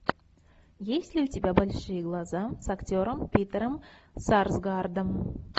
есть ли у тебя большие глаза с актером питером сарсгаардом